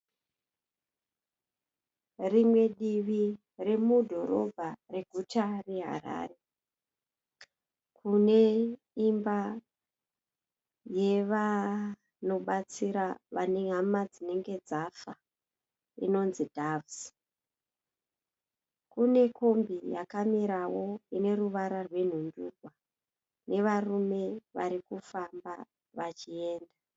Rimwe divi remudhorobha reguta reHarare. Kune imba yevanobatsira vane hama dzinenge dzafa inonzi Doves. Kune kombi yakamirawo ine ruvara rwenhundurwa nevarume vari kufamba vachienda.